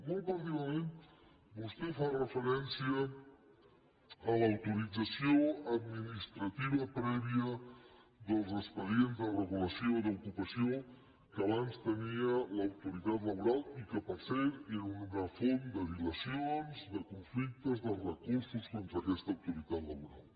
molt particularment vostè fa referència a l’autoritza·ció administrativa prèvia dels expedients de regulació d’ocupació que abans tenia l’autoritat laboral i que per cert era una font de dilacions de conflictes de recur·sos contra aquesta autoritat laboral